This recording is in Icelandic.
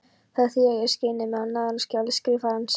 Það þýðir að ég skeini mig á náðunarskjali Skrifarans.